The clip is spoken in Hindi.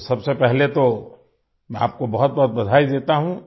तो सबसे पहले तो मैं आपको बहुतबहुत बधाई देता हूँ